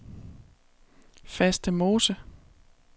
Fastemose